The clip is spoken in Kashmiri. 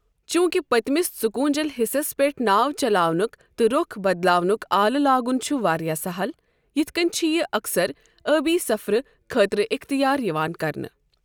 چوٗنٛکہِ پٔتمِس ژُکوٗنٛجل حِصس پیٚٹھ ناو چلاونُک تہٕ رۄخ بدلاونُک آلہٕ لاگُن چُھ واریاہ سہل، یِتھ کٕنۍ چھِ یِہ اکثر ٲبی سفرٕ خٲطرٕ اختیار یِوان کرنہٕ۔